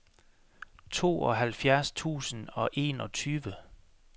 tooghalvfjerds tusind og enogtyve